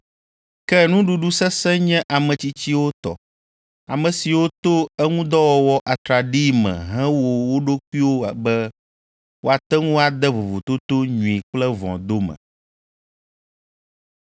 Ke nuɖuɖu sesẽ nye ame tsitsiwo tɔ, ame siwo to eŋudɔwɔwɔ atraɖii me he wo ɖokuiwo be woate ŋu ade vovototo nyui kple vɔ̃ dome.